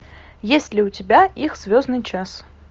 есть ли у тебя их звездный час